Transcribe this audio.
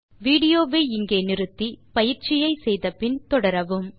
விடியோவை இங்கே நிறுத்தி கொடுத்த பயிற்சியை செய்த பின் தொடரவும்